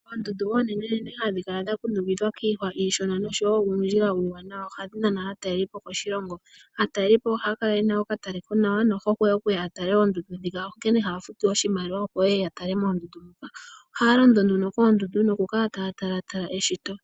Oondundu oonenenene hadhi kala dha kundukidhwa kiihwa iishona noshowo uundjila uuwanawa. Ohadhi nana aatalelipo koshilongo. Aataleli ohaya kala yena okataleko nawa nohokwe okuya ya tale oondundu dhika. Onkene haya futu oshimaliwa opo ye ye ya tale moondundu muka. Ohaya londo nduno koondundu nokukala taya talatala eshito.